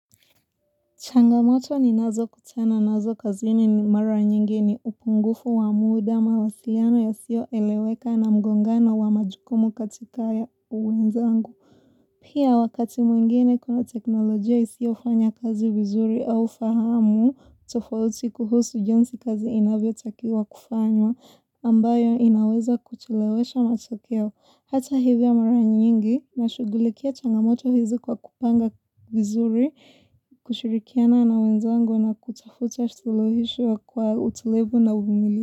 Changamoto ninazo kutana nazo kazini ni mara nyingi ni upungufu wa muda mawasiliano yasio eleweka na mgongana wa majukumu katika ya uweza angu. Pia wakati mwingine kuna teknolojia isio fanya kazi vizuri au fahamu tofauti kuhusu jinsi kazi inavyo takiwa kufanywa ambayo inaweza kuchelewesha matakeo. Hata hivya mara nyingi na shugulikia changamoto hizi kwa kupanga vizuri, kushirikiana na wenzangu na kutafuta shuluhisho kwa utulevu na umilivu.